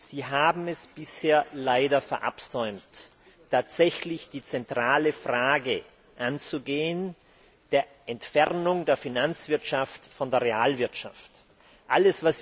Sie haben es bisher leider verabsäumt, tatsächlich die zentrale Frage der Entfernung der Finanzwirtschaft von der Realwirtschaft anzugehen.